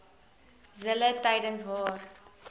zille tydens haar